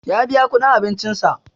Ya biya kuɗin abincin sa